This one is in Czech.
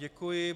Děkuji.